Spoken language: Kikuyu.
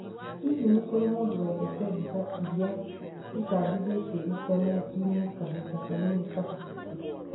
Hihi nĩ kũrĩ mũndũ wendete mbica ĩrĩa cabithitie intenetinĩ kahinda kanini kahĩtũku?